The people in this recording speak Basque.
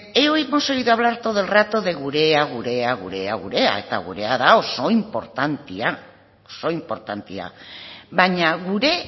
hemos oído hablar todo el rato de gurea gurea gurea gurea eta gurea da oso inportantea baina gure